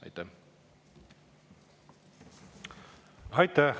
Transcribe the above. Aitäh!